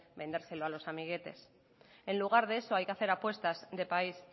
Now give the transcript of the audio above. vendérselo a los amiguetes en lugar de eso hay que hacer apuestas de país